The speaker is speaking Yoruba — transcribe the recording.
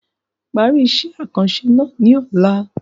Parí iṣẹ́ àkànṣe náà ní ọ̀la.